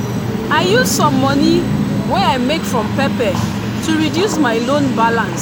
i use some money wey i make from pepper to reduce my loan balance.